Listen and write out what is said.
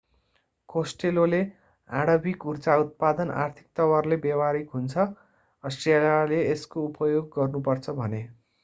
Costello costelloले आणविक ऊर्जा उत्पादन आर्थिक तवरले व्यवहारिक हुन्छ अष्ट्रेलियाले यसको उपयोग गर्नु पर्छ भने।